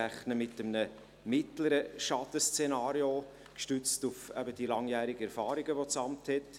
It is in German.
Gestützt auf die langjährigen Erfahrungen, welche das Amt hat, rechnen wir mit einem mittleren Schadenszenario.